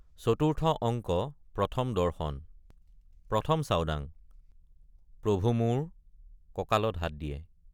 চতুৰ্থ অংক প্ৰথম দৰ্শন ১ ম চাওডাং—প্ৰভু মোৰ কঁকালত হাত দিয়ে।